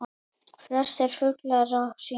Flestir fuglar á hring